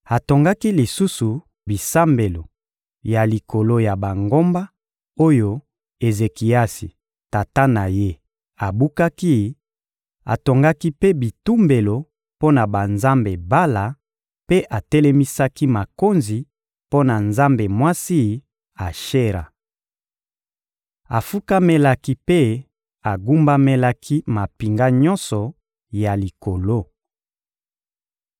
Atongaki lisusu bisambelo ya likolo ya bangomba oyo Ezekiasi, tata na ye, abukaki; atongaki mpe bitumbelo mpo na banzambe Bala mpe atelemisaki makonzi mpo na nzambe mwasi Ashera. Afukamelaki mpe agumbamelaki mampinga nyonso ya likolo.